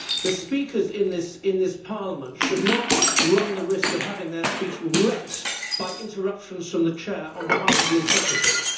The speakers in this Parliament should not run the risk of having their speech wrecked by interruptions from the Chair on behalf of the interpreters.